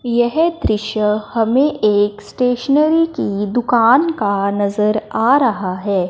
यह दृश्य हमें एक स्टेशनरी की दुकान का नजर आ रहा है।